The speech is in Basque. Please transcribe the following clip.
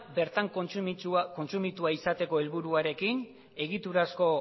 bertan kontsumitua izateko helburuarekin egiturazko